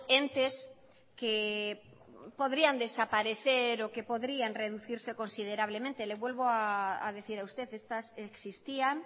entes que podrían desaparecer o que podrían reducirse considerablemente le vuelvo a decir a usted estas existían